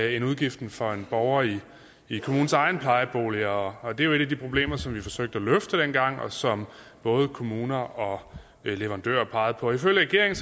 end udgiften for en borger i kommunens egne plejeboliger og og det var et af de problemer som vi forsøgte at løfte dengang og som både kommuner og leverandører pegede på ifølge regeringen